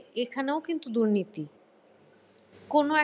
এখানেও কিন্তু দুর্নীতি। কোনো!